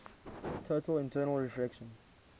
total internal reflection